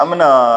An me na